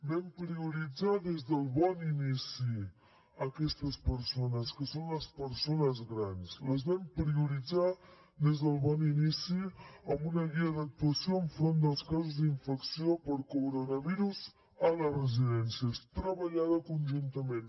vam prioritzar des del bon inici aquestes persones que són les persones grans les vam prioritzar des del bon inici amb una guia d’actuació enfront dels casos d’infecció per coronavirus a les residències treballada conjuntament